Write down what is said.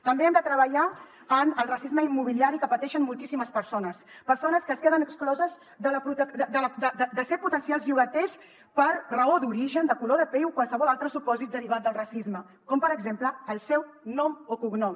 també hem de treballar en el racisme immobiliari que pateixen moltíssimes persones persones que es queden excloses de ser potencials llogaters per raó d’origen de color de pell o qualsevol altre supòsit derivat del racisme com per exemple el seu nom o cognom